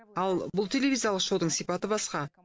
ал бұл телевизиялық шоудың сипаты басқа